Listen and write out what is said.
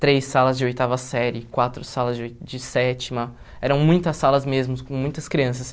três salas de oitava série, quatro salas de oi de sétima, eram muitas salas mesmo, com muitas crianças.